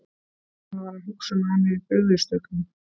Hann var að hugsa um að hann hefði brugðist öllum.